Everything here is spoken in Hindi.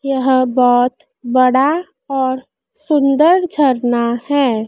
यह बहोत बड़ा और सुंदर झरना है।